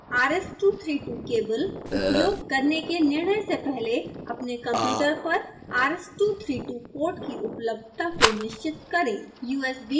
ध्यान दें rs232 cable उपयोग करने का निर्णय से पहले अपने कंप्यूटर पर rs232 पोर्ट कि उपलब्धता को निश्चित करें